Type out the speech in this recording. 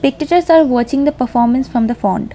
spectators are watching the performance from the font .